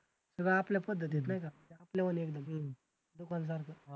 सगळं आपल्या पद्धती आहेत नाही का आपल्यावानी एकदम दुकानदार